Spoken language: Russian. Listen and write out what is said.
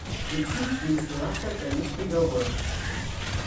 включи менструация конец приговора